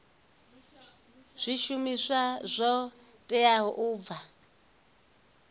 zwishumiswa zwo teaho u bva